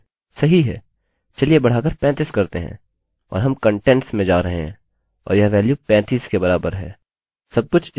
सही है चलिए बढ़ाकर 35 करते हैं और हम कंटेंट्स में जा रहे हैं और यह वेल्यू 35 के बराबर है